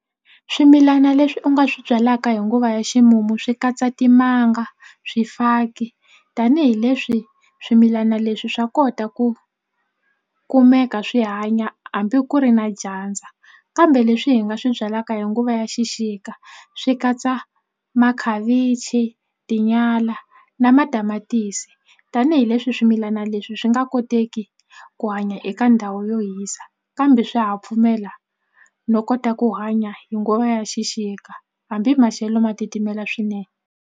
Swimilana leswi u nga swi byalaka hi nguva ya ximumu swi katsa timanga swifaki tanihileswi swimilana leswi swa kota ku kumeka swi hanya hambi ku ri na dyandza kambe leswi hi nga swi byalaka hi nguva ya xixika swi katsa makhavichi, tinyala na matamatisi tanihileswi swimilana leswi swi nga koteki ku hanya eka ndhawu yo hisa kambe swa ha pfumela no kota ku hanya hi nguva ya xixika hambi maxelo ma titimela swinene.